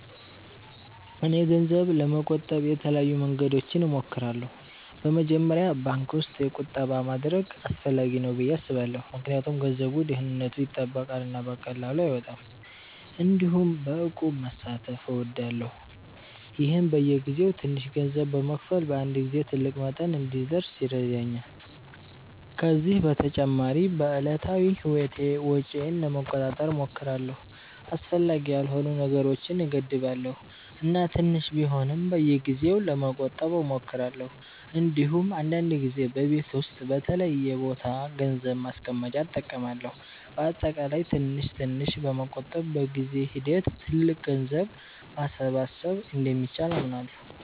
እኔ ገንዘብ ለመቆጠብ የተለያዩ መንገዶችን እሞክራለሁ። በመጀመሪያ ባንክ ውስጥ ቁጠባ ማድረግ አስፈላጊ ነው ብዬ አስባለሁ ምክንያቱም ገንዘቡ ደህንነቱ ይጠበቃል እና በቀላሉ አይወጣም። እንዲሁም በእቁብ መሳተፍ እወዳለሁ፣ ይህም በየጊዜው ትንሽ ገንዘብ በመክፈል በአንድ ጊዜ ትልቅ መጠን እንዲደርስ ይረዳኛል። ከዚህ በተጨማሪ በዕለታዊ ህይወቴ ወጪዬን ለመቆጣጠር እሞክራለሁ፣ አስፈላጊ ያልሆኑ ነገሮችን እገድባለሁ እና ትንሽ ቢሆንም በየጊዜው ለመቆጠብ እሞክራለሁ። እንዲሁም አንዳንድ ጊዜ በቤት ውስጥ በተለየ ቦታ ገንዘብ ማስቀመጫ እጠቀማለሁ። በአጠቃላይ ትንሽ ትንሽ በመቆጠብ በጊዜ ሂደት ትልቅ ገንዘብ ማሰባሰብ እንደሚቻል አምናለሁ።